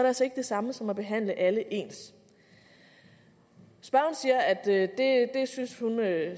altså ikke det samme som at behandle alle ens spørgeren siger at det